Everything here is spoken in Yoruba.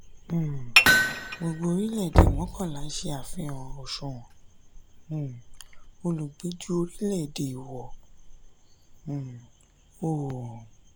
um gbógbo orílẹ̀ èdè mọ́kànlá ṣe àfihàn òṣùwọ̀n um olùgbé ju orílẹ̀ èdè ìwọ um oòrùn.